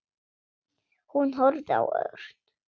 Hún horfði á Örn.